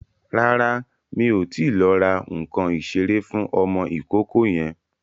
Rárá, mi ò tíì lọ ra nǹkan ìṣeré fún ọmọ ìkókó yẹn.